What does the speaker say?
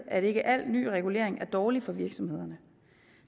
at ikke al ny regulering er dårlig for virksomhederne